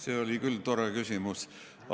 See oli küll tore küsimus.